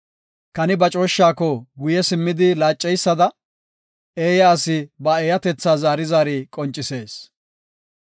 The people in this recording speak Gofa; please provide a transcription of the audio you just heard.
Kani ba cooshshako guye simmidi laaceysada, eeya asi ba eeyatetha zaari zaari qoncisees.